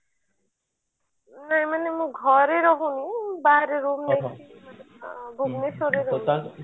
ନାଇଁ ମାନେ ମୁଁ ଘରେ ରହୁ ନି ବାହାରେ room ନେଇକି ଭୁବନେଶ୍ବର ରେ ରହୁଛି